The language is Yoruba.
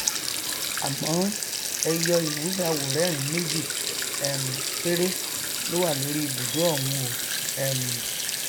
àmọ ẹyọ iwé aworẹrin méjì um péré ló wà lórí ìbùdó ọhún o um